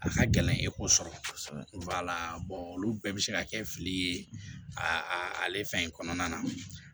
A ka gɛlɛn e ko sɔrɔ olu bɛɛ bi se ka kɛ fili ye a ale fɛn in kɔnɔna na